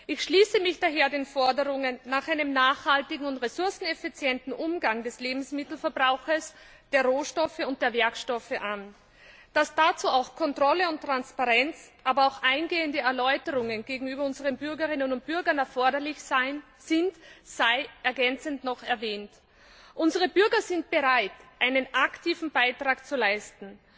Ich schließe mich daher den Forderungen nach einem nachhaltigen und ressourceneffizienten Umgang mit dem Lebensmittelverbrauch, den Rohstoffen und den Werkstoffen an. Dass dazu auch Kontrolle und Transparenz, aber auch eingehende Erläuterungen gegenüber unseren Bürgerinnen und Bürgern erforderlich sind, sei ergänzend noch erwähnt. Unsere Bürger sind bereit, einen aktiven Beitrag zu leisten.